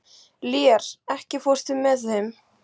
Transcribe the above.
Lér, ekki fórstu með þeim?